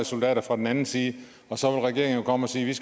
soldater fra den anden side og så vil regeringen jo komme og sige